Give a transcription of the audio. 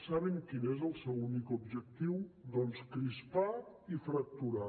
saben quin és el seu únic objectiu doncs crispar i fracturar